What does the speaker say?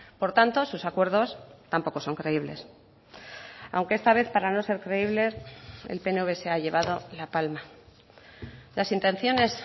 por tanto sus acuerdos tampoco son creíbles aunque esta vez para no ser creíbles el pnv se ha llevado la palma las intenciones